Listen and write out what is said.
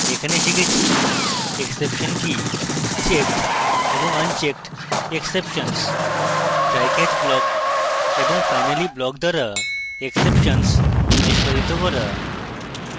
এখানে শিখেছি: exception কি এবং checked এবং unchecked exceptions trycatch block এবং finally block দ্বারা exceptions নিষ্পাদিত করা